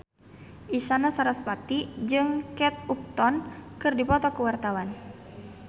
Isyana Sarasvati jeung Kate Upton keur dipoto ku wartawan